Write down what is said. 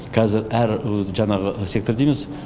қазір әр өз жаңағы сектор дейміз